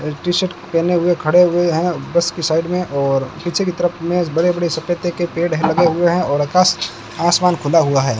एक टी-शर्ट पहने हुए खड़े हुए है बस की साइड में और पीछे की तरफ में बड़े बड़े सफेदे के पेड़ है लगे हुए हैं और यथास्त आसमान खुला हुआ है।